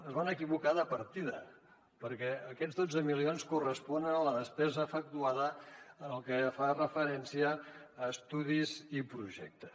es van equivocar de partida perquè aquests dotze milions corresponen a la despesa efectuada en el que fa referència a estudis i projectes